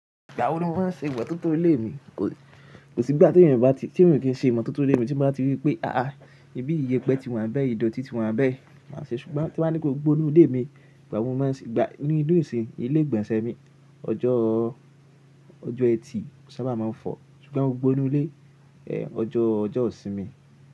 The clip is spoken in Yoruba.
Ìgbà wo ni mọ́n máa ń ṣe ìmọ̀ tó tó ilé mi? Kò sí bí à ti yín bá ti ṣe ìmọ̀ tó tó ilé mi tí wọ́n bá ti rí pé àá, ibi iyẹpẹ́ ti wàn bẹ́ ìdọ̀tí ti wàn bẹ́. Máa ṣe ṣùgbọ́n tín bá ní pé gbogbo inú ilé mi, ìgbà wo ni mà máa ń gbà? Nínú ìlú ìsìn ilé ìgbọ̀nsẹ̀ mi ọjọ́ ọjọ́ ẹtì mọ sábà máa ń fọ̀. Ṣùgbọ́n gbọgbọ inú ilé, ẹ, ọjọ́ ọjọ́ ìsinmi.